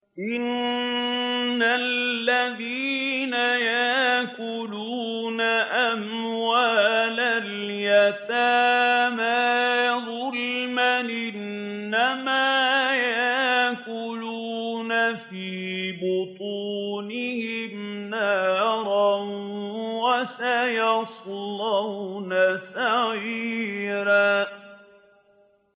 إِنَّ الَّذِينَ يَأْكُلُونَ أَمْوَالَ الْيَتَامَىٰ ظُلْمًا إِنَّمَا يَأْكُلُونَ فِي بُطُونِهِمْ نَارًا ۖ وَسَيَصْلَوْنَ سَعِيرًا